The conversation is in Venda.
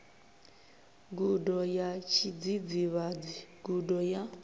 gudo ya tshidzidzivhadzi gudo ya